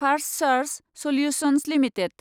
फार्स्टसर्स solutions limited